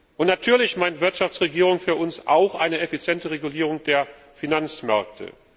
Und natürlich bedeutet Wirtschaftsregierung für uns auch eine effiziente Regulierung der Finanzmärkte.